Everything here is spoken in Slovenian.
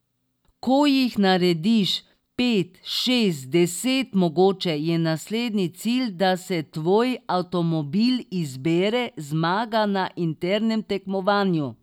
Ko jih narediš pet, šest, deset mogoče, je naslednji cilj, da se tvoj avtomobil izbere, zmaga na internem tekmovanju.